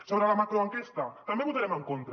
sobre la macroenquesta també hi votarem en contra